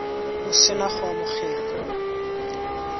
o se na go amogela